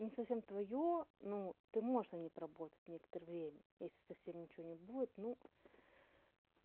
не совсем твоё ну ты можешь на ней поработать некоторое время ну если совсем ничего не будет ну